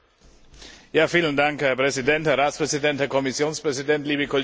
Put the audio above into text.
Herr Präsident, Herr Ratspräsident, Herr Kommissionspräsident, liebe Kolleginnen und Kollegen!